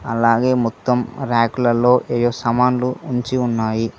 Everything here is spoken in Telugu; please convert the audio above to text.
అలాగే మొత్తం ర్యాకులలో ఏ సమానులు ఉంచి ఉన్నాయి.